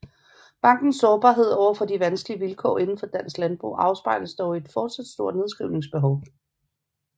Bankens sårbarhed over for de meget vanskelige vilkår inden for dansk landbrug afspejles dog i et fortsat stort nedskrivningsbehov